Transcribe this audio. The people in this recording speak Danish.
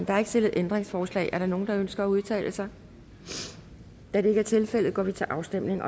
er ikke stillet ændringsforslag er der nogen der ønsker at udtale sig da det ikke er tilfældet går vi til afstemning